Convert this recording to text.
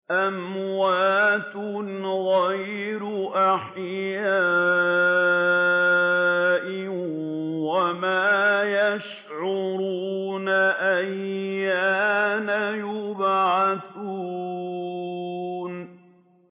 أَمْوَاتٌ غَيْرُ أَحْيَاءٍ ۖ وَمَا يَشْعُرُونَ أَيَّانَ يُبْعَثُونَ